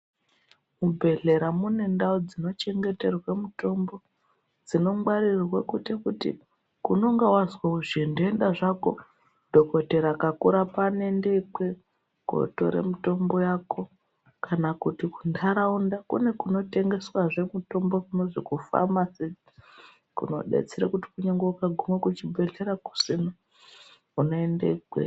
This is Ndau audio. Mubhedlera ,munendau dzinochengeterwa mitombo ,dzinongwarirwe kuti kuti unenge wazwa zvintenda zvako dhogodhera akakurapa unendekwe kotore mitombo yako, kana kuti muntaraunda kune kunotengeswa zvemutombo kunozi kufamasi. Kunodetsere kuti kunyange wakakume kuchibhedlera kusina unoende ikweyo.